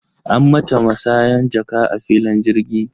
An mata masanyan jaka a filin jirgi.